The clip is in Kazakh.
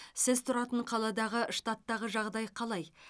сіз тұратын қаладағы штаттағы жағдай қалай